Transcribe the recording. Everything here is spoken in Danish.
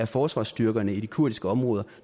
forsvarsstyrkerne i de kurdiske områder